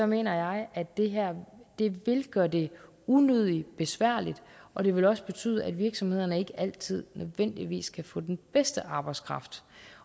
mener jeg at det her vil gøre det unødigt besværligt og det vil også betyde at virksomhederne ikke altid nødvendigvis kan få den bedste arbejdskraft